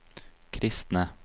kristne